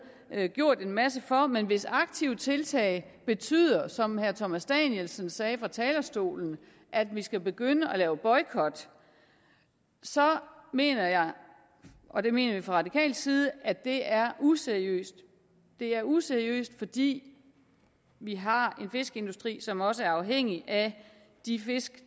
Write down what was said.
er gjort en masse for men hvis aktive tiltag betyder som herre thomas danielsen sagde fra talerstolen at vi skal begynde at lave boykot så mener jeg og det mener vi fra radikal side at det er useriøst det er useriøst fordi vi har en fiskeindustri som også er afhængig af de fisk